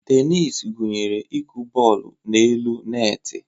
Tenis gụnyere ịkụ bọọlụ n'elu netị.